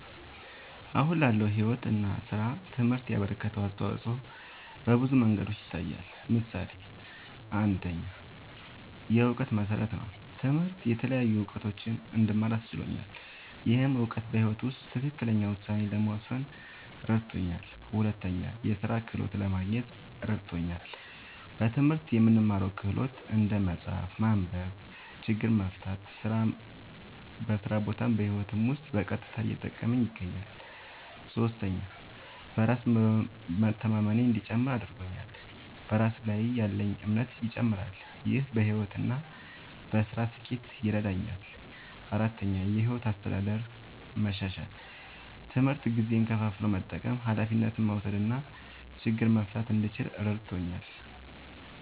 አሁን ላለው ሕይወት እና ሥራ ትምህርት ያበረከተው አስተዋጾ በብዙ መንገዶች ይታያል። ምሳሌ ፩, የእውቀት መሠረት ነዉ። ትምህርት የተለያዩ እዉቀቶችን እንድማር አስችሎኛል። ይህ እውቀት በሕይወት ውስጥ ትክክለኛ ውሳኔ ለመወሰን እረድቶኛል። ፪, የሥራ ክህሎት ለማግኘት እረድቶኛል። በትምህርት የምንማረው ክህሎት (እንደ መጻፍ፣ ማንበብ፣ ችግር መፍታ) በስራ ቦታም በህይወቴም ዉስጥ በቀጥታ እየጠቀመኝ ይገኛል። ፫. በራስ መተማመኔ እንዲጨምር እረድቶኛል። በራስ ላይ ያለኝ እምነትም ይጨምራል። ይህ በሕይወት እና በሥራ ስኬት ይረዳኛል። ፬,. የሕይወት አስተዳደር መሻሻል፦ ትምህርት ጊዜን ከፋፍሎ መጠቀም፣ ኃላፊነት መውሰድ እና ችግር መፍታት እንድችል እረድቶኛል።